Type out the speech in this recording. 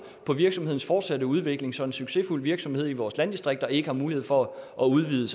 på virksomhedens fortsatte udvikling så en succesfuld virksomhed i vores landdistrikter ikke har mulighed for at udvide